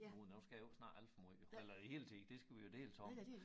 Uh nu skal jeg jo ikke snakke alt for måj jo eller æ hele tid det skal vi jo deles om